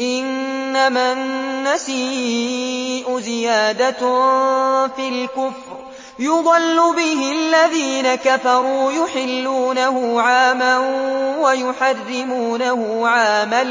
إِنَّمَا النَّسِيءُ زِيَادَةٌ فِي الْكُفْرِ ۖ يُضَلُّ بِهِ الَّذِينَ كَفَرُوا يُحِلُّونَهُ عَامًا وَيُحَرِّمُونَهُ عَامًا